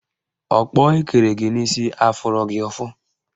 Ọkpọ o kere gị n'isi afụrụ gị ụfụ?